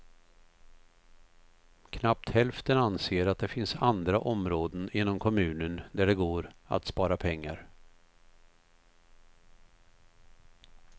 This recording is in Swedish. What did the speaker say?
Knappt hälften anser att det finns andra områden inom kommunen där det går att spara pengar.